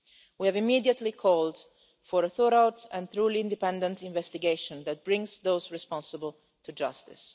We have immediately called for a thorough and truly independent investigation that brings those responsible to justice.